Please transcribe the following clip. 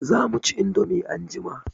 Za mu ci indomie anjima.